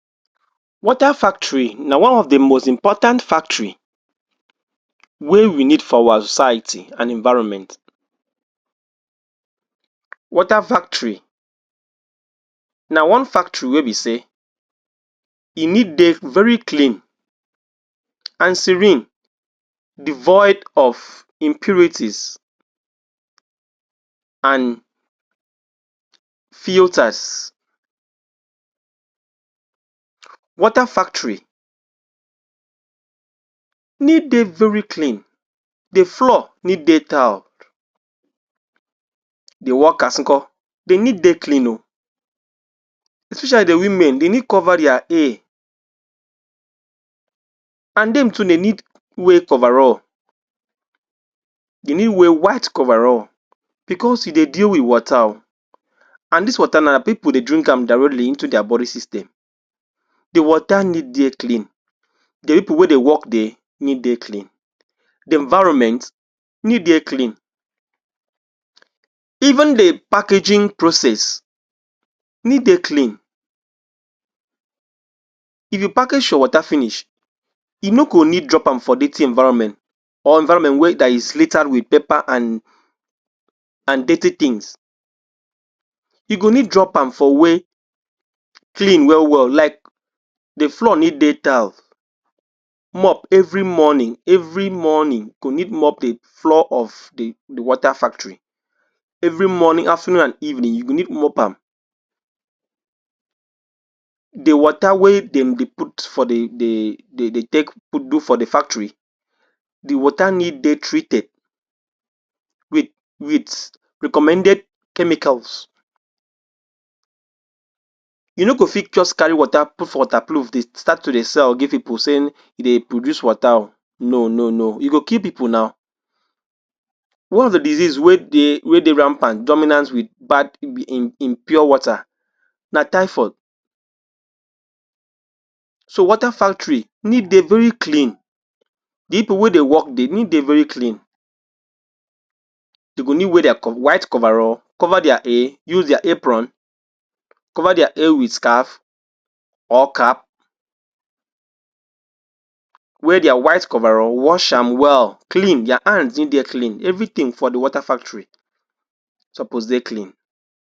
Water factory na one of de most important factory wey we need for our society and environment. Water factory na one factory wey be sey e need dey very clean and serene devoid of impurities and filters. Water factory need dey very clean, de floor need dey tiled De workers nko dey need dey clean oo especially de women dey need cover dia hair and dem too dey need wear coverall, dey need wear white coverall because e dey deal with water oo and dis water na pipul dey drink am directly into dia body system de water need dey clean, de people wey dey work dia need dey clean, de environment need dey clean, even de packaging process need dey clean. if you package your water finish, e no go need drop am for dirty environment or environment wey dat is littered with paper and dirty things. you go need drop am for where clean well well like de floor need dey tiled mop every morning every morning go need mop de floor of de water factory every morning, afternoon and evening you go need mop am de water wey dem dey put for de de dey take do for the factory, de water need dey treated wit wit recommended chemicals you no go fi just carry water put for waterproof dey start to dey sell or give pipul sey you dey produce water oo, no no no e go kill pipul naw one of the disease wey dey rampant dominant with um in pure water na typhoid so water factory need dey very clean, people wey dey work dia need dey very clean dey go need wear dia white coverall, cover dia hair, use dia apron, cover dia hair with scarf or cap. Wear dia white coverall, wash am well clean dia hands need dey clean, everything for de water factory suppose dey clean.